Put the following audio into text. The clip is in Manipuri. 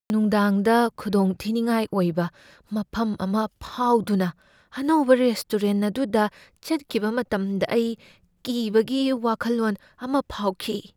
ꯅꯨꯡꯗꯥꯡꯗ ꯈꯨꯗꯣꯡꯊꯤꯅꯤꯡꯉꯥꯏ ꯑꯣꯏꯕ ꯃꯐꯝ ꯑꯃ ꯐꯥꯎꯗꯨꯅ ꯑꯅꯧꯕ ꯔꯦꯁꯇꯣꯔꯦꯟꯠ ꯑꯗꯨꯗ ꯆꯠꯈꯤꯕ ꯃꯇꯝꯗ ꯑꯩ ꯀꯤꯕꯒꯤ ꯋꯥꯈꯜꯂꯣꯟ ꯑꯃ ꯐꯥꯎꯈꯤ ꯫